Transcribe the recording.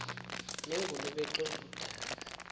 nengulube exova udaka